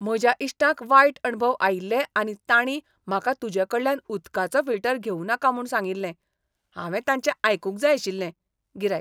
म्हज्या इश्टांक वायट अणभव आयिल्ले आनी तांणी म्हाका तुजेकडल्यान उदकाचो फिल्टर घेवूं नाका म्हूण सांगिल्लें. हांवें तांचें आयकूंक जाय आशिल्लें . गिरायक